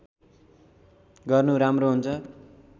गर्नु राम्रो हुन्छ